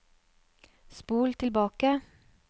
spol tilbake